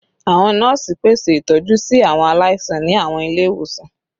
Awọn nọọsi pese itọju si awọn alaisan ni awọn ile-iwosan